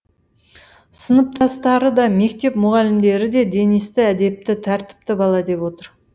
сыныптастары да мектеп мұғалімдері де денисті әдепті тәртіпті бала деп отыр